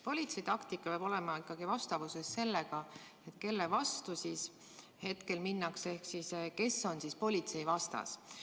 Politsei taktika peab olema ikkagi vastavuses sellega, kelle vastu hetkel minnakse ehk kes on politsei vastas.